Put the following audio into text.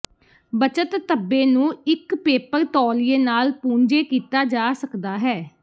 ਬੱਚਤ ਧੱਬੇ ਨੂੰ ਇੱਕ ਪੇਪਰ ਤੌਲੀਏ ਨਾਲ ਪੂੰਝੇ ਕੀਤਾ ਜਾ ਸਕਦਾ ਹੈ